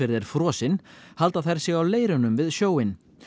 er frosinn halda þær sig á leirunum við sjóinn